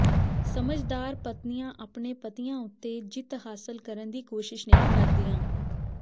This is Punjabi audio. ਸਮਝਦਾਰ ਪਤਨੀਆਂ ਆਪਣੇ ਪਤੀਆਂ ਉੱਤੇ ਜਿੱਤ ਹਾਸਲ ਕਰਨ ਦੀ ਕੋਸ਼ਿਸ਼ ਨਹੀਂ ਕਰਦੀਆਂ